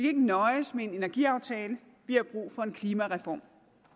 ikke nøjes med en energiaftale vi har brug for en klimareform